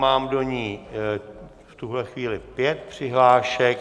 Mám do ní v tuhle chvíli pět přihlášek.